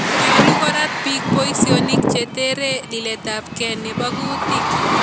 Nyolu korat biik boisyoniik he tere litetapke nebo kuutik